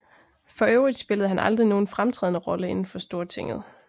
For øvrigt spillede han aldrig nogen fremtrædende Rolle inden for Stortinget